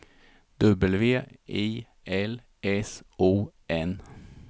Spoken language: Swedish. W I L S O N